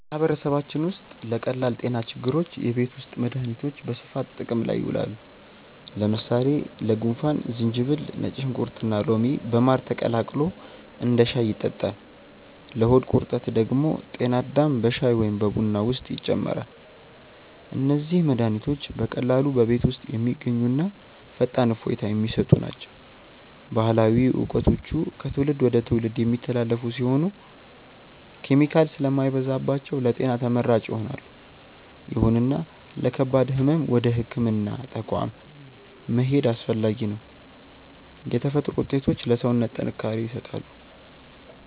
በማህበረሰባችን ውስጥ ለቀላል ጤና ችግሮች የቤት ውስጥ መድሃኒቶች በስፋት ጥቅም ላይ ይውላሉ። ለምሳሌ ለጉንፋን ዝንጅብል፣ ነጭ ሽንኩርትና ሎሚ በማር ተቀላቅሎ እንደ ሻይ ይጠጣል። ለሆድ ቁርጠት ደግሞ ጤና አዳም በሻይ ወይም በቡና ውስጥ ይጨመራል። እነዚህ መድሃኒቶች በቀላሉ በቤት ውስጥ የሚገኙና ፈጣን እፎይታ የሚሰጡ ናቸው። ባህላዊ እውቀቶቹ ከትውልድ ወደ ትውልድ የሚተላለፉ ሲሆኑ፣ ኬሚካል ስለማይበዛባቸው ለጤና ተመራጭ ይሆናሉ። ይሁንና ለከባድ ህመም ወደ ህክምና ተቋም መሄድ አስፈላጊ ነው። የተፈጥሮ ውጤቶች ለሰውነት ጥንካሬ ይሰጣሉ።